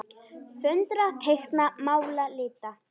Föndra- teikna- mála- lita